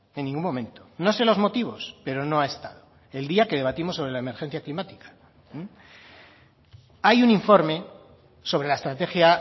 en ningún momento no sé los motivos pero no ha estado el día que debatimos sobre la emergencia climática hay un informe sobre la estrategia